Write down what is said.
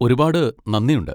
ഒരുപാട് നന്ദിയുണ്ട്.